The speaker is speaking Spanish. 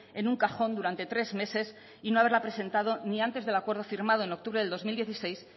en un cajón durante tres meses y no haberla presentado ni antes del acuerdo firmado en octubre de dos mil dieciséis